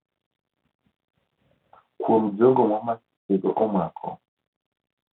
Kuom jogo ma masichego omako.